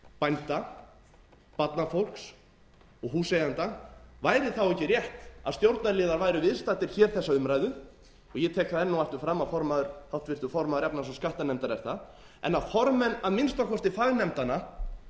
bænda barnafólks og húseigenda væri þá ekki rétt að stjórnarliðar væru viðstaddir hér þessa umræðu og ég tek það enn og aftur fram a háttvirtur formaður efnahags og skattanefndar er það en að formenn að minnsta kosti fagnefndanna